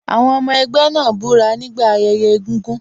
Àwọn ọmọ ẹgbẹ́ náà búra nígbà ayẹyẹ egúngún.